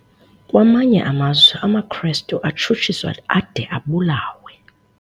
Kwamanye amazwe amaKrestu atshutshiswa ade abulawe.